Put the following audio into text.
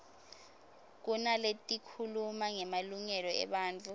kunaletikhuluma ngemalungelo ebantfu